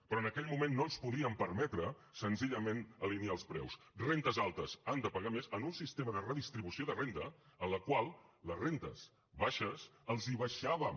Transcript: però en aquell moment no ens podíem permetre senzillament alinear els preus rendes altes han de pagar més en un sistema de redistribució de renda en el qual a les rendes baixes els l’abaixàvem